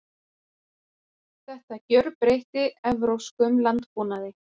Þetta gjörbreytti evrópskum landbúnaði.